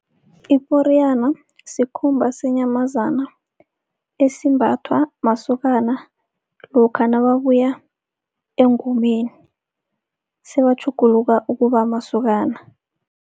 Iporiyana sikhumba senyamazana esimbathwa masokana lokha nababuya engomeni, sebatjhuguluka ukuba masokana.